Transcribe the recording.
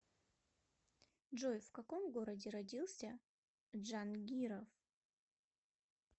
джой в каком городе родился джангиров